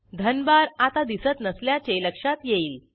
धनभार आता दिसत नसल्याचे लक्षात येईल